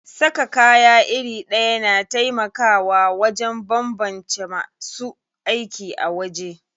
Saka kaya iri ɗaya na taimakawa wajen banbance masu aiki a waje.